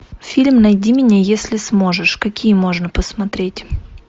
фильм найди меня если сможешь какие можно посмотреть